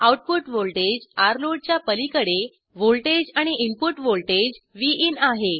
output voltage load च्या पलीकडे voltage आणि इनपुट व्हॉल्टेज विन आहे